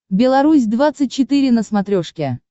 беларусь двадцать четыре на смотрешке